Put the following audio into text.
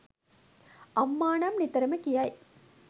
අම්මා නම් නිතරම කියයි.